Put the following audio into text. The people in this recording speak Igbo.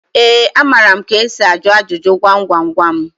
Ee, amara m ka esi ajụ ajụjụ gwam gwam gwam.